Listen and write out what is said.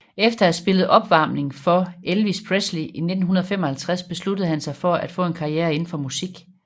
Efter at have spillet opvarmning for Elvis Presley i 1955 besluttede han sig for at få en karriere indenfor musik